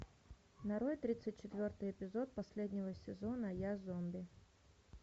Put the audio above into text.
нарой тридцать четвертый эпизод последнего сезона я зомби